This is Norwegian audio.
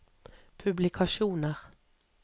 publikasjoner